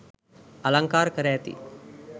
අලංකාර කර ඇති